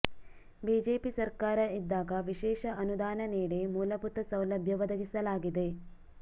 BJP ಸರ್ಕಾರ ಇದ್ದಾಗ ವಿಶೇಷ ಅನುದಾನ ನೀಡಿ ಮೂಲಭೂತ ಸೌಲಭ್ಯ ಒದಗಿಸಲಾಗಿದೆ